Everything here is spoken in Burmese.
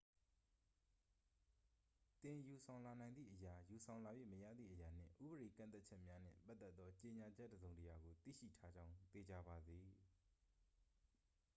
သင် ယူဆောင်လာနိုင်သည့်အရာ ယူဆောင်လာ၍မရသည့်အရာနှင့် ဥပဒေကန့်သတ်ချက်များနှင့်ပတ်သက်သော ကြေညာချက်တစ်စုံတစ်ရာကို သိရှိထားကြောင်း သေချာပါစေ